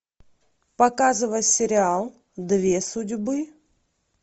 показывай сериал две судьбы